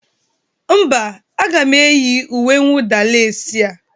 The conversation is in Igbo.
Mba, aga m eyi uwe nwụda lesi a.